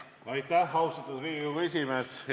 Aitäh, austatud Riigikogu esimees!